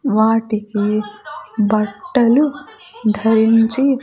వాటికి బట్టలు ధరించి --